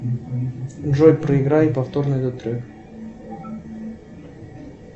джой проиграй повторно этот трек